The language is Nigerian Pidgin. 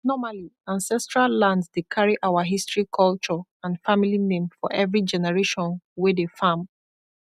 normally ancestral land dey carry our history culture and family name for every generation wey dey farm